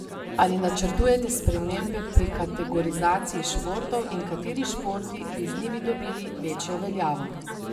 Ali načrtujete spremembe pri kategorizaciji športov in kateri športi bi z njimi dobili večjo veljavo?